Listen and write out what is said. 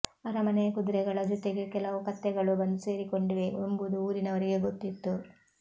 ಅರಮನೆಯ ಕುದುರೆಗಳ ಜೊತೆಗೆ ಕೆಲವು ಕತ್ತೆಗಳೂ ಬಂದು ಸೇರಿಕೊಂಡಿವೆ ಎಂಬುದು ಊರಿನವರಿಗೆ ಗೊತ್ತಿತ್ತು